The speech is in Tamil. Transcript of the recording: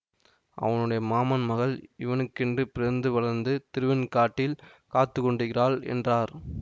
அவனுடைய மாமன் மகள் இவனுக்கென்று பிறந்து வளர்ந்து திருவெண்காட்டில் காத்துக்கொண்டிருக்கிறாள் என்றார்